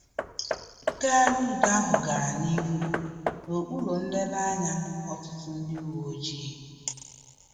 Ngagharị udo ahụ gara n'ihu na okpuru nlele anya ọtụtụ ndị uwe ojii